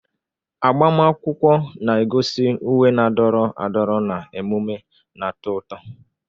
Agbamakwụkwọ na-egosi uwe na-adọrọ adọrọ na emume na-atọ ụtọ.